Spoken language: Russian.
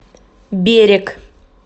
берег